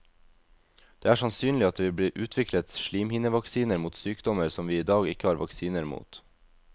Det er sannsynlig at det vil bli utviklet slimhinnevaksiner mot sykdommer som vi i dag ikke har vaksiner mot.